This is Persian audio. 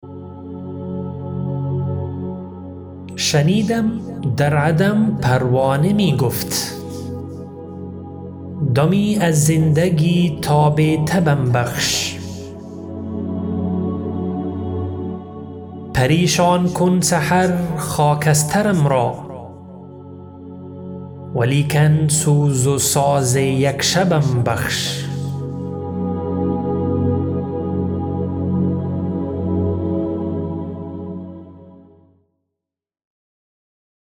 شنیدم در عدم پروانه میگفت دمی از زندگی تاب تبم بخش پریشان کن سحر خاکسترم را ولیکن سوز و ساز یک شبم بخش